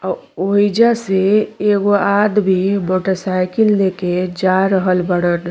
ओहिजा से एगो आदमी मोटरसाइकिल लेके जा रहल बाड़न।